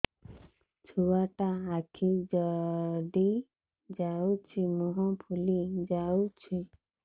ଛୁଆଟା ଆଖି ଜଡ଼ି ଯାଉଛି ମୁହଁ ଫୁଲି ଯାଉଛି